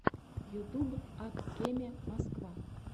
ютуб ак кеме москва